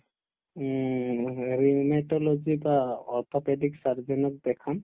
উমহু আৰু মানে rheumatologist বা orthopedist surgeon ক দেখাম